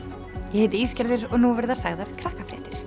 ég heiti og nú verða sagðar